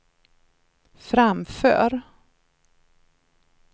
framför